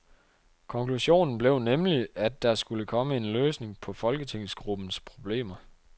Konklusionen blev nemlig, at der skulle komme en løsning på folketingsgruppens problemer.